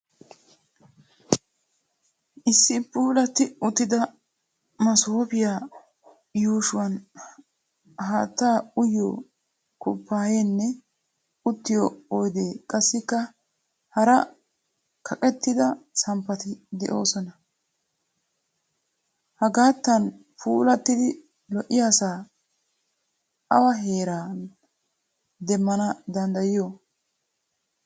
Issi puulatti uttida masoopiya yuushuwan haattaa uyiyo kupaayaynne uttiyo oydee qassikka hara kaqettida samppati de'oosona. Hagaattan puulattidi lo"iyaasaa awa heeran demmana danddayiyo?